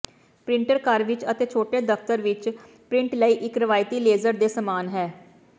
printer ਘਰ ਵਿਚ ਅਤੇ ਛੋਟੇ ਦਫਤਰ ਵਿਚ ਪਰਿੰਟ ਲਈ ਇੱਕ ਰਵਾਇਤੀ ਲੇਜ਼ਰ ਦੇ ਸਾਮਾਨ ਹੈ